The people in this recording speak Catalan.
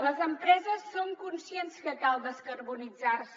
les empreses són conscients que cal descarbonitzar se